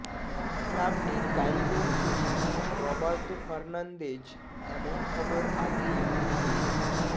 ক্লাবটির কারিগরি সচিব রবার্টো ফার্নান্দেজ এমন খবর আগেই উড়িয়ে